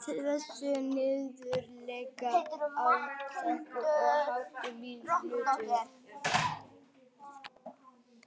stilltu niðurteljara á sextíu og átta mínútur.